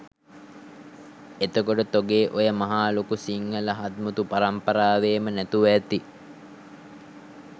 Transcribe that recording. එතකොට තොගේ ඔය මහා ලොකු සිංහල හත්මුතු පරම්පරාවේම නැතුව ඇති